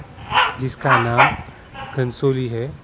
जिसका नाम कंसोली हैं ।